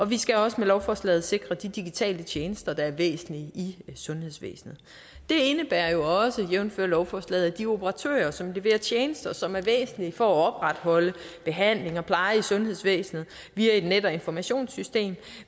vi skal også med lovforslaget sikre de digitale tjenester der er væsentlige i sundhedsvæsenet det indebærer jo også jævnfør lovforslaget at de operatører som leverer tjenester og som er væsentlige for at opretholde behandling og pleje i sundhedsvæsenet via et net og informationssystem